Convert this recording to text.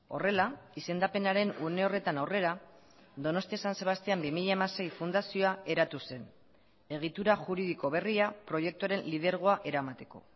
horrela izendapenaren une horretan aurrera donostia san sebastian bi mila hamasei fundazioa eratu zen egitura juridiko berria proiektuaren lidergoa eramateko